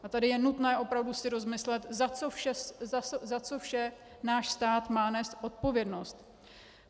A tady je nutné opravdu si rozmyslet, za co vše náš stát má nést odpovědnost.